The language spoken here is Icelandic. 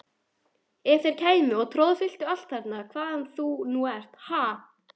Ef þeir kæmu og troðfylltu allt þarna hvaðan sem þú nú ert, ha!